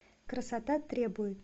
красота требует